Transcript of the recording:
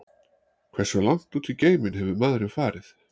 Hversu langt út í geiminn hefur maðurinn farið?